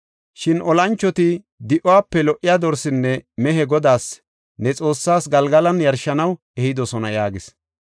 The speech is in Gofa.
Shin olanchoti di7uwape lo77iya dorsenne mehiya Godaas, ne Xoossaas, Galgalan yarshanaw ehidosona” yaagis.